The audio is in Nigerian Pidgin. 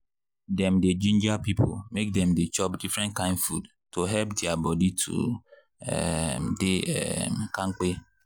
dem dey ginger people make dem dey chop different kind food to help their body to um dey um kampe.